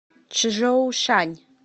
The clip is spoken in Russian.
чжоушань